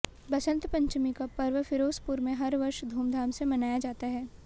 बसंत पंचमी का पर्व फिरोजपुर में हर वर्ष धूमधाम से मनाया जाता है